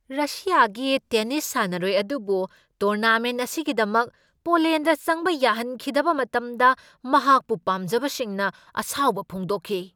ꯔꯁ꯭ꯌꯥꯒꯤ tennis ꯁꯥꯟꯅꯔꯣꯏ ꯑꯗꯨꯕꯨ tournament ꯑꯁꯤꯒꯤꯗꯃꯛ ꯄꯣꯂꯦꯟꯗ ꯆꯪꯕ ꯌꯥꯍꯟꯈꯤꯗꯕ ꯃꯇꯝꯗ ꯃꯍꯥꯛꯄꯨ ꯄꯥꯝꯖꯕꯁꯤꯡꯅ ꯑꯁꯥꯎꯕ ꯐꯣꯡꯗꯣꯛꯈꯤ ꯫